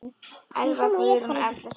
Elva Guðrún og Erla Sylvía.